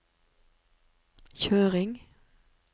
kjøring